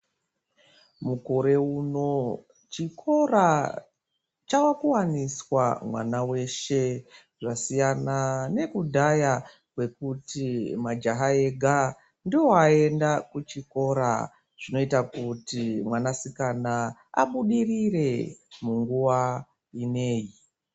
Mukore uno chikora chawa kuwaniswa vana veshe zvasiyana nekudhaya kuti majaha Vega ndivo vaienda kuchikora zvinoita kuti mwana sikana abudirire munguwa inei.